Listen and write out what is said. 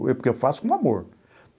É porque eu faço com amor.